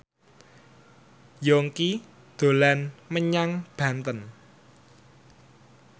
Yongki dolan menyang Banten